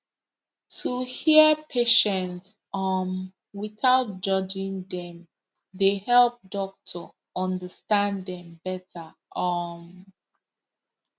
to hear patient um without judging dem dey help doctor understand dem better um